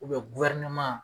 U bɛ guwɛrineman